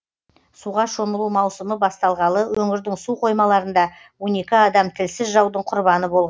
суға шомылу маусымы басталғалы өңірдің су қоймаларында он екі адам тілсіз жаудың құрбаны болған